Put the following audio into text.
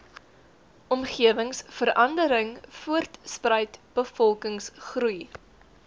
omgewingsverandering voortspruit bevolkingsgroei